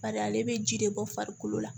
Badi ale bɛ ji de bɔ farikolo la